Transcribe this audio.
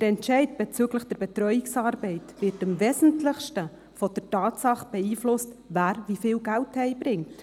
Der Entscheid bezüglich der Betreuungsarbeit wird am wesentlichsten von der Tatsache beeinflusst, wer wie viel Geld nach Hause bringt.